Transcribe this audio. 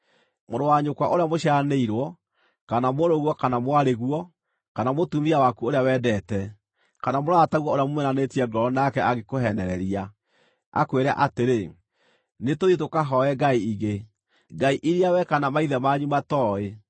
Mũrũ wa nyũkwa ũrĩa mũciaranĩirwo, kana mũrũguo kana mwarĩguo, kana mũtumia waku ũrĩa wendete, kana mũrataguo ũrĩa mumĩranĩtie ngoro nake angĩkũheenereria, akwĩre atĩrĩ, “Nĩtũthiĩ tũkahooe ngai ingĩ” (ngai iria wee kana maithe manyu matooĩ,